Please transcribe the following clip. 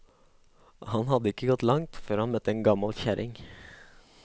Han hadde ikke gått langt, før han møtte en gammel kjerring.